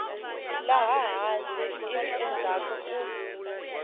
laha hansi ivi endzhaku u